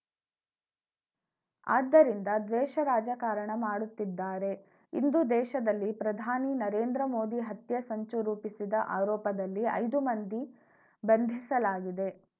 ಆದ್ದರಿಂದ ದ್ವೇಷ ರಾಜಕಾರಣ ಮಾಡುತ್ತಿದ್ದಾರೆ ಇಂದು ದೇಶದಲ್ಲಿ ಪ್ರಧಾನಿ ನರೇಂದ್ರ ಮೋದಿ ಹತ್ಯೆ ಸಂಚುರೂಪಿಸಿದ ಆರೋಪದಲ್ಲಿ ಐದು ಮಂದಿ ಬಂಧಿಸಲಾಗಿದೆ